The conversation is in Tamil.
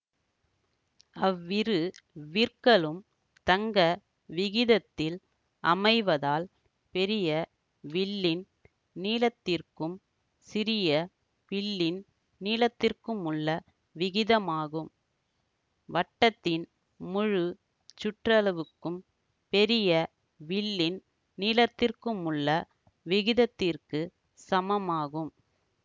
அவ்விரு விற்களும் தங்க விகிதத்தில் அமைவதால் பெரிய வில்லின் நீளத்திற்கும் சிறிய வில்லின் நீளத்திற்குமுள்ள விகிதமாகும் வட்டத்தின் முழு சுற்றளவுக்கும் பெரிய வில்லின் நீளத்திற்குமுள்ள விகிதத்திற்குச் சமமாகும்